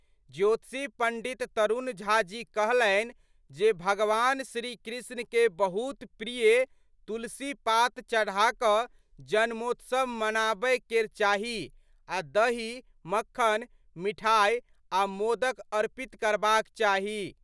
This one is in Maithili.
ज्योतिषी पंडित तरुण झा जी कहलनि जे भगवान श्री कृष्ण कए बहुत प्रिय तुलसी पात चढ़ा क जन्मोत्सव मनाबय केर चाही आ दही, मक्खन, मिठाई आ मोदक अर्पित करबाक चाही।